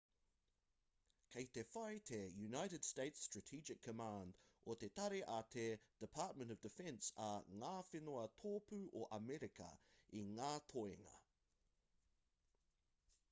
kei te whai te united states strategi command o te tari a te department of defense a ngā whenua tōpū o amerika i ngā toenga